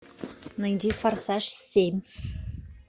найди форсаж семь